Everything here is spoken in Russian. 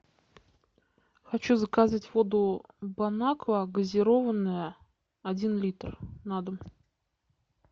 хочу заказать воду бонаква газированная один литр на дом